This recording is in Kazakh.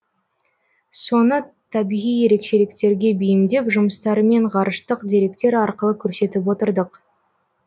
соны табиғи ерекшеліктерге бейімдеп жұмыстарымен ғарыштық деректер арқылы көрсетіп отырдық